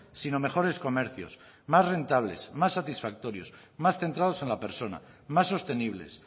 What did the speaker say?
sino mejores comercios más rentables más satisfactorios más centrados en la persona más sostenibles